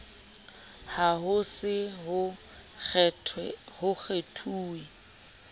ha ho se ho kgethuwe